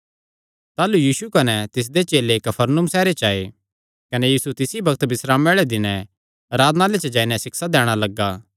ताह़लू यीशु कने तिसदे चेले कफरनहूम सैहरे च आये कने यीशु तिसी बग्त बिस्रामे आल़े दिनैं आराधनालय च जाई नैं सिक्षा दैणा लग्गा